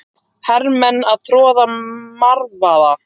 Hermenn að troða marvaða.